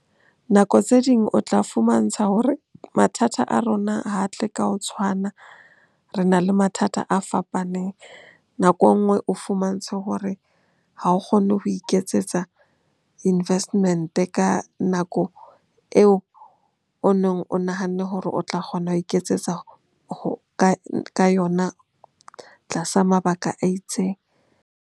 Nako tse ding o tla fumantsha hore mathata a rona ha tle ka ho tshwana, re na le mathata a fapaneng. Nako enngwe o fumantshwe hore ha o kgone ho iketsetsa investment-e ka nako eo o neng o nahanne hore o tla kgona ho iketsetsa ka yona tlasa mabaka a itseng.